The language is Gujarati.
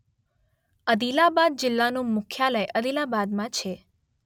અદિલાબાદ જિલ્લાનું મુખ્યાલય અદિલાબાદમાં છે.